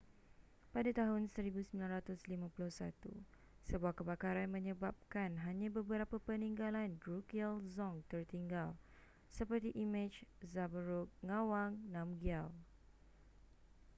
pada tahun 1951 sebuah kebakaran menyebabkan hanya beberapa peninggalan drukgyal dzong tertinggal seperti imej zhabdrung ngawang namgyal